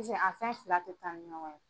Pisee a fɛn fila tɛ taa ni ɲɔgɔn ye.